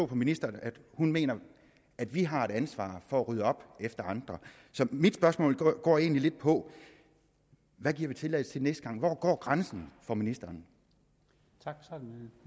på ministeren at hun mener at vi har et ansvar for at rydde op efter andre så mit spørgsmål går egentlig lidt på hvad giver vi tilladelse til næste gang hvor går grænsen for ministeren